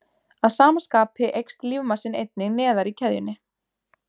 Að sama skapi eykst lífmassinn einnig neðar í keðjunni.